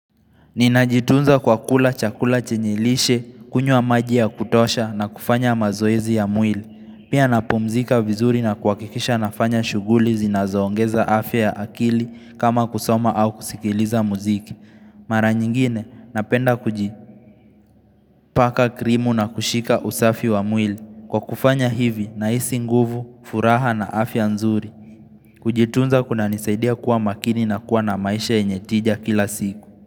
Ninajitunza kwa kula chakula chenye lishe, kunywa maji ya kutosha na kufanya mazoezi ya mwili. Pia napumzika vizuri na kuhakikisha nafanya shuguli zinazoongeza afya ya akili kama kusoma au kusikiliza muziki. Mara nyingine napenda kujipaka krimu na kushika usafi wa mwili. Kwa kufanya hivi nahisi nguvu, furaha na afya nzuri. Kujitunza kunanisaidia kuwa makini na kuwa na maisha yenye tija kila siku.